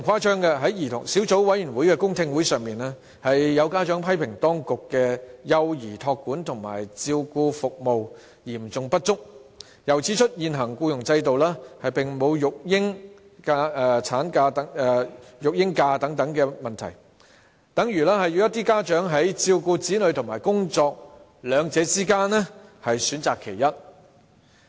在小組委員會的公聽會上，有家長批評當局的幼兒託管和照顧服務嚴重不足，又指出現行僱傭制度並無育嬰假等問題，等同要家長在照顧子女與工作兩者之間，選擇其一。